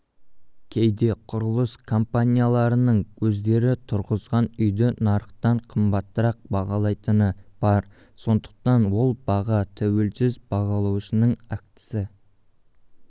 кейде құрылыс компанияларының өздері тұрғызған үйді нарықтан қымбатырақ бағалайтыны бар сондықтан ол баға тәуелсіз бағалаушының актісі